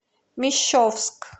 мещовск